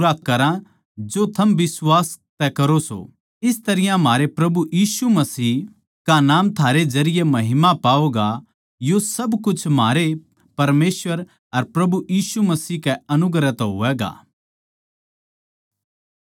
इस तरियां म्हारे प्रभु यीशु मसीह का नाम थारे जरिये महिमा पावैगा यो सब कुछ म्हारे परमेसवर अर प्रभु यीशु मसीह के अनुग्रह तै होवैगा